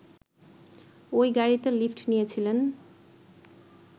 ওই গাড়িতে লিফট নিয়েছিলেন